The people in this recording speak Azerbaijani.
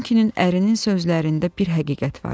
Dunkinin ərinin sözlərində bir həqiqət var idi.